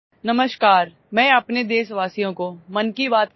Namaskar I want to say something to my countrymen through 'Mann Ki Baat'